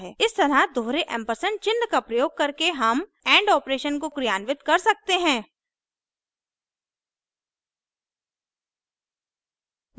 इस तरह दोहरे एम्परसेंड चिन्ह का प्रयोग करके हम and operation को क्रियान्वित कर सकते हैं